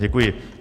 Děkuji.